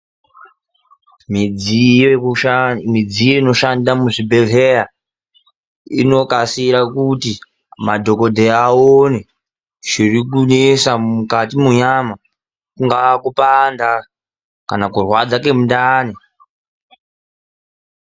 Midziyo inoshanda muzvibhedhlera inokasira kuti madhogodheya aone zvirikunesa mukati menyama, kungaa kupanda kana kurwadza kwemundani.